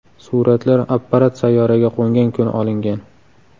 Suratlar apparat sayyoraga qo‘ngan kuni olingan.